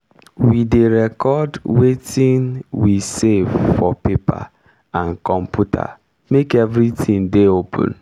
we dey record wetin we save for paper and computer make everitin dey open.